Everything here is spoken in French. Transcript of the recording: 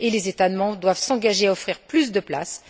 Les États membres doivent s'engager à offrir plus de places.